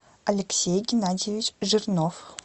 алексей геннадьевич жирнов